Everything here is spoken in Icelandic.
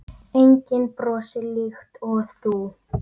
Hrunið snerti allt og alla.